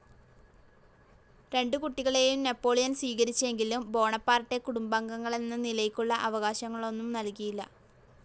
രണ്ടു കുട്ടികളെയും നാപ്പോളിയൻ സ്വീകരിച്ചെങ്കിലും ബോണപ്പാർട്ടെ കുടുംബാംഗങ്ങളെന്ന നിലയ്ക്കുള്ള അവകാശങ്ങളൊന്നും നൽകിയില്ല.